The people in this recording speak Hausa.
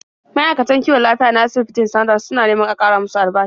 Ma'aikatan kiwon lafiya na asibitin Standard suna neman a ƙara musu albashi.